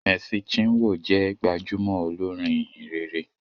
Mercy chinwo jé gbajúmò olorin ìhìnrere